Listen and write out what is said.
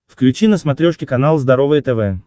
включи на смотрешке канал здоровое тв